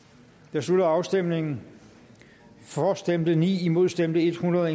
jeg slutter afstemningen for stemte ni imod stemte hundrede